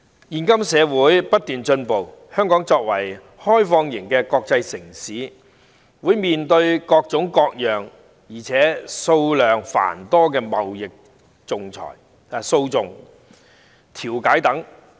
現今社會不斷進步，香港作為開放型的國際城市，會面對各種各樣且數量繁多的貿易訴訟及調解。